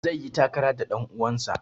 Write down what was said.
Zai yi takara da ɗan uwansa.